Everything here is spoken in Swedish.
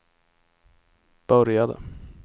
började